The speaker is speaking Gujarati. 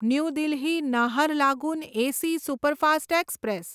new Delhi Naharlagun AC superfast express